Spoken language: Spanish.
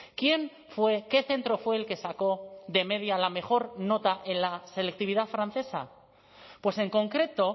quién fue qué centro fue el que sacó de media la mejor nota en la selectividad francesa pues en concreto